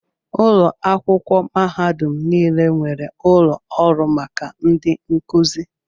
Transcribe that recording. Ụlọ akwụkwọ mahadum niile nwere ụlọ ọrụ maka ndị nkuzi.